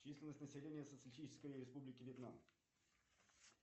численность населения социалистической республики вьетнам